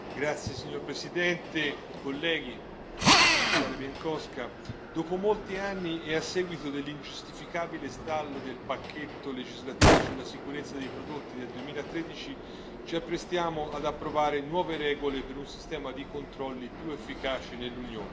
Signor Presidente, onorevoli colleghi, Commissario Bieńkowska, dopo molti anni, e a seguito dell'ingiustificabile stallo del pacchetto legislativo sulla sicurezza dei prodotti del 2013, ci apprestiamo ad approvare nuove regole per un sistema di controlli più efficaci nell'Unione.